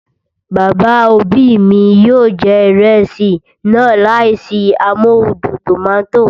Bàbá òbí mi yóò jẹ ìrẹsì náà láìsí amóhudùn tòmátò